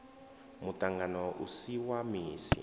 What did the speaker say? muṱangano u si wa misi